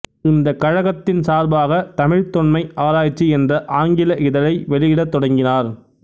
இந்தக் கழகத்தின் சார்பாகத் தமிழ்த் தொன்மை ஆராய்ச்சி என்ற ஆங்கில இதழை வெளியிடத் தொடங்கினார்